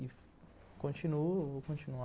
E continuo, vou continuar.